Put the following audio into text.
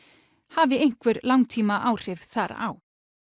hafi einhver langtímaáhrif þar á